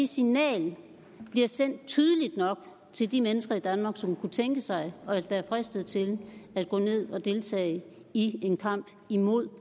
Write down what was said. signal bliver sendt tydeligt nok til de mennesker i danmark som kunne tænke sig og være fristet til at gå ned og deltage i en kamp imod